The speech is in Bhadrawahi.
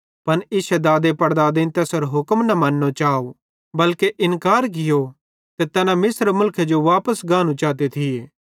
पन इश्शे दादेपड़दादेईं तैसेरो हुक्म न मन्नो चाव बल्के इकरार कियो ते तैना मिस्र मुलखेरे जो वापस गानू चाते थिये